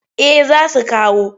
Eh za su kawo.